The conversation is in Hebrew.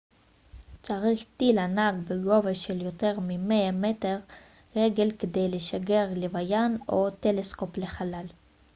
צריך טיל ענק בגובה של יותר מ-100 רגל כדי לשגר לוויין או טלסקופ לחלל